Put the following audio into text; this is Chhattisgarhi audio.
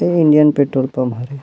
ए इंडियन पेट्रोल पंप हरे --